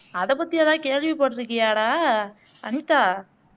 அத பத்தி எதாவது கேள்விபட்டிருக்கியாடா அனிதா